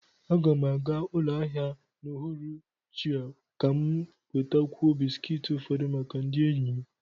Aga m aga ụlọ ahịa n'uhuruchi a ka m nwetakwuo bisikiiti ufodu maka ndị enyi m